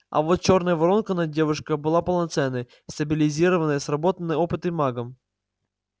а вот чёрная воронка над девушкой была полноценной стабилизированной сработанной опытным магом